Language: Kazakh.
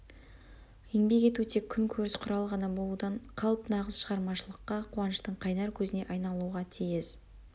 еңбек ету тек күн көріс құралы ғана болудан қалып нағыз шығармашылыққа қуаныштың қайнар көзіне айналуға тиіс